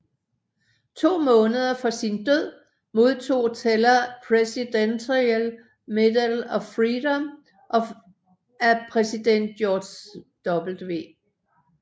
To måneder for sin død modtog Teller Presidential Medal of Freedom af præsident George W